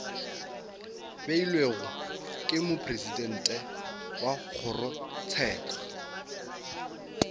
beilwego ke mopresidente wa kgorotsheko